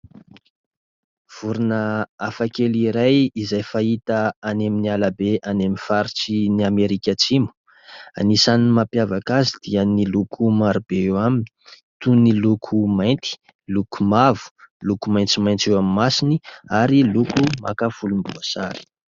Vorona afakely iray izay fahita any amin'ny alabe any amin'ny faritry ny Amerika Atsimo ; anisan'ny mampiavaka azy dia ny loko marobe eo aminy : toy ny loko mainty, loko mavo, loko maintsomaintso eo amin'ny masony ary loko maka volomboasary.